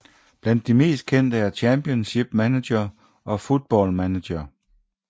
Blandt de mest kendte er Championship Manager og Football Manager